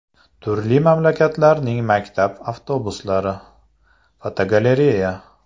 Turli mamlakatlarning maktab avtobuslari (fotogalereya).